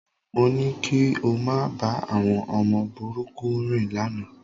Mo ní kí o máa bá àwọn ọmọ búburú rìn lánàá